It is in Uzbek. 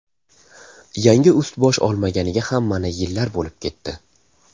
Yangi ust-bosh olmaganiga ham mana yillar bo‘lib ketdi.